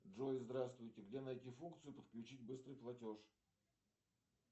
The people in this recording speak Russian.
джой здравствуйте где найти функцию подключить быстрый платеж